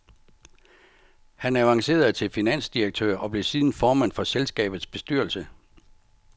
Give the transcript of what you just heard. Han avancerede til finansdirektør og blev siden formand for selskabets bestyrelse.